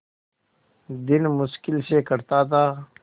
दिन मुश्किल से कटता था